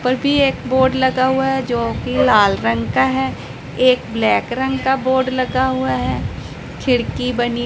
पर भी एक बोर्ड लगा हुआ है जोकि लाल रंग का है एक ब्लैक रंग का बोर्ड लगा हुआ है खिड़की बनी--